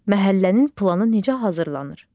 Məhəllənin planı necə hazırlanır?